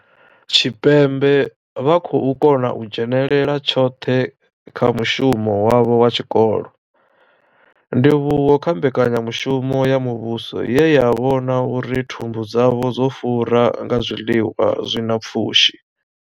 Tshipembe vha khou kona u dzhenela tshoṱhe kha mushumo wavho wa tshikolo, ndivhuwo kha mbekanyamushumo ya muvhuso ye ya vhona uri thumbu dzavho dzo fura nga zwiḽiwa zwi na pfushi.